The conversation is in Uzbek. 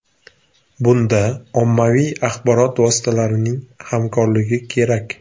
Bunda ommaviy axborot vositalarining hamkorligi kerak.